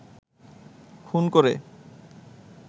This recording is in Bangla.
খুন করে